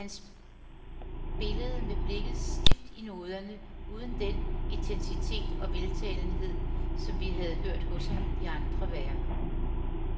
Han spillede med blikket stift i noderne, uden den intensitet og veltalenhed, som vi har hørt hos ham i andre værker.